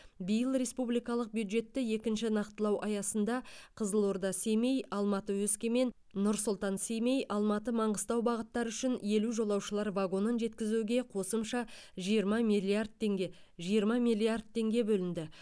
биыл республикалық бюджетті екінші нақтылау аясында қызылорда семей алматы өскемен нұр сұлтан семей алматы маңғыстау бағыттары үшін елу жолаушылар вагонын жеткізуге қосымша жиырма миллиард теңге жиырма миллиард теңге бөлінді